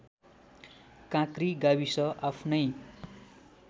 काँक्री गाविस आफ्नै